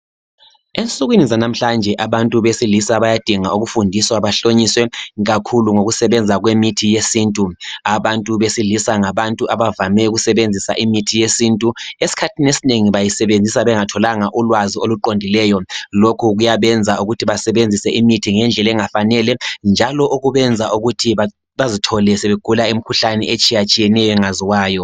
Ensukwini zanamhlanje abantu besilisa bayadinga ukufundiswa bahlonyiswe kakhulu ngokusebenza kwemithi yesintu .Abantu besilisa ngabantu abavame ukusebenzisa imithi yesintu . Esikhathini esinengi bayisebenzisa bengatholanga ulwazi oluqondileyo. Lokhu kuyabenza ukuthi basebenzise imithi ngendlela engafanele njalo okubenza ukuthi bazithole sebegula imkhuhlane etshiya tshiyeneyo engaziwayo .